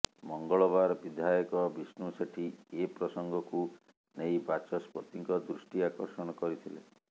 ମଙ୍ଗଳବାର ବିଧାୟକ ବିଷ୍ଣୁ ସେଠୀ ଏପ୍ରସଙ୍ଗକୁ ନେଇ ବାଚସ୍ପତିଙ୍କ ଦୃଷ୍ଟି ଆକର୍ଷଣ କରିଥିଲେ